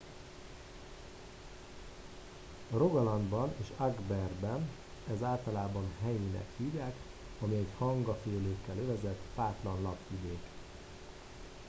rogalandban és agderben ezt általában hei”-nek hívják ami egy hangafélékkel övezett fátlan lápvidék